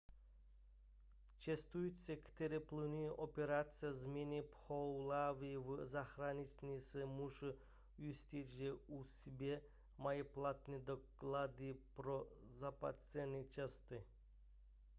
cestující kteří plánují operaci změny pohlaví v zahraničí se musí ujistit že u sebe mají platné doklady pro zpáteční cestu